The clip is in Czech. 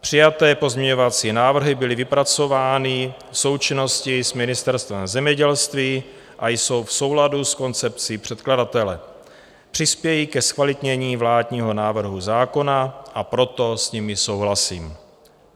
Přijaté pozměňovací návrhy byly vypracovány v součinnosti s Ministerstvem zemědělství a jsou v souladu s koncepcí překladatele, přispějí ke zkvalitnění vládního návrhu zákona, a proto s nimi souhlasím.